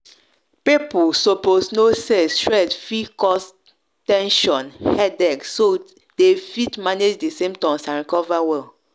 people suppose know say stress fit cause ten sion headache so dem fit manage di symptoms and recover well.